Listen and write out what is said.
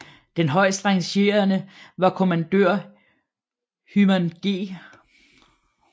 Den højest rangerende var kommandør Hyman G